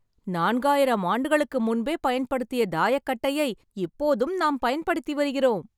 நான்காயிரம் ஆண்டுகளுக்கு முன்பே பயன்படுத்திய தாயக்கட்டையை இப்போதும் நாம் பயன்படுத்தி வருகிறோம்